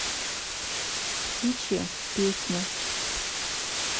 птичья песня